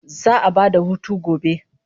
Za'a ba da hutu gobe